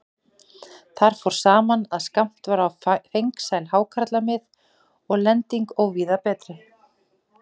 Þar fór saman, að skammt var á fengsæl hákarlamið og lending óvíða betri.